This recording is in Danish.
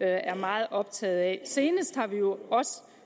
er meget optaget af senest har vi jo også